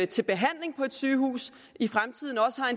til behandling på et sygehus i fremtiden også har